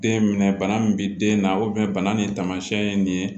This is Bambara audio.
Den minɛ bana min bɛ den na bana nin taamasiyɛn ye nin ye